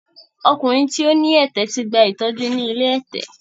Ọkùnrin tí ó ní ẹ̀tẹ̀ ti gba ìtọ́jú ni ilé ẹ̀tẹ̀.